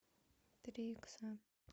три икса